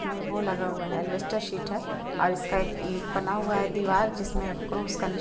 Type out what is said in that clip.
उसमे वो लगा हुवा है अल्वेस्टर सीट हैऔर इसमें बना हुवा है दीवाल जिस में क्रोस का निशा--